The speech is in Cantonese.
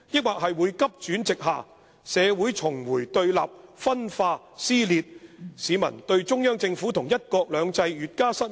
還是急轉直下，社會重回對立分化撕裂，市民對中央政府和'一國兩制'越加失望？